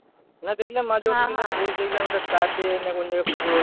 না দেখলাম মাঝে post দেখলাম একটা flat এ না কোন জায়গায় পুজো হচ্ছে।